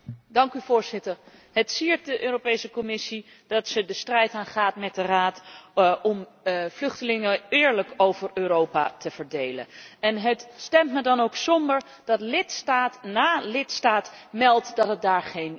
Het siert de Europese Commissie dat zij de strijd aangaat met de Raad om vluchtelingen eerlijk over Europa te verdelen en het stemt me dan ook somber dat lidstaat na lidstaat meldt dat ze daar geen zin in heeft.